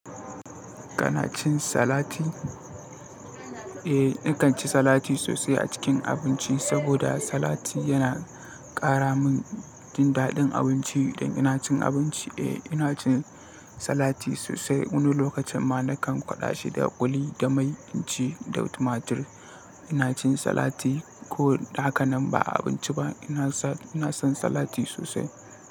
Kana cin salati? Eh, nakan ci salati sosai a cikin abinci saboda salati yana ƙara min jin daɗin abinci idan ina cin abinci. Eh, ina cin salati sosai. Wani lokacin ma nakan kwaɗa shi da ƙuli da mai incin da tumatir. Ina cin salati ko da haka nan ba abinci ba. Ina son salati sosai.